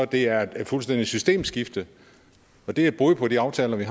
det er et fuldstændig systemskifte det er et brud på de aftaler vi